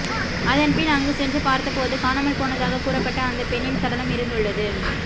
அதன் பின் அங்கு சென்று பார்த்த போது காணாமல் போனதாக கூறப்பட்ட அந்த பெண்ணின் சடலம் இருந்துள்ளது